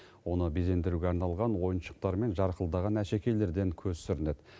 оны безендіруге арналған ойыншықтар мен жарқылдаған әшекейлерден көз сүрінеді